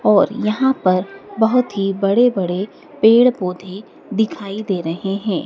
और यहां पर बहोत ही बड़े बड़े पेड़ पौधे दिखाई दे रहे हैं।